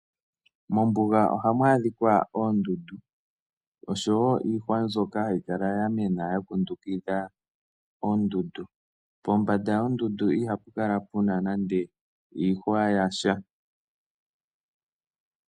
Mombuga ohamu adhika oondundu oshowo iihwa mbyoka hayi kala ya mena ya kundukidha oondundu, pombanda yondundu ihapu kala nande opuna iihwa yasha.